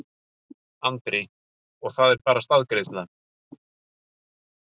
Andri: Og það er bara staðgreiðsla?